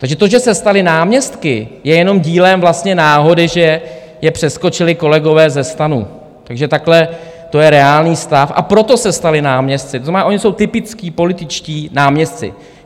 Takže to, že se stali náměstky, je jenom dílem vlastně náhody, že je přeskočili kolegové ze STANu, takže takhle to je reálný stav, a proto se stali náměstky, to znamená, oni jsou typičtí političtí náměstci.